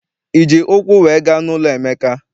Iji ụkwụ wee gaa n'ụlọ Emeka?